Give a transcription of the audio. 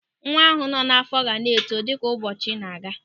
Nwa ahụ nọ n'àfọ́ ga na-eto dịka ụbọchị na-aga.